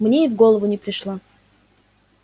мне и в голову не пришло